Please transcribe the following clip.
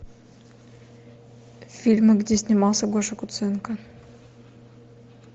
фильмы где снимался гоша куценко